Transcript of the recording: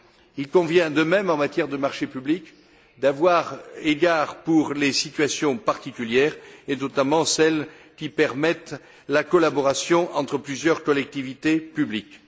Il convient, de même, en matière de marchés publics, d'avoir égard aux situations particulières, et notamment celles qui permettent la collaboration entre plusieurs collectivités publiques.